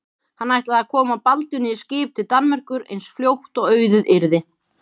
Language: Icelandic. Hann ætlaði að koma Baldvini í skip til Danmerkur eins fljótt og auðið yrði.